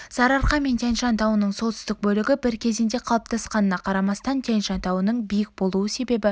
сарыарқа мен тянь-шань тауының солтүстік бөлігі бір кезеңде қалыптасқанына қарамастан тянь-шань тауының биік болу себебі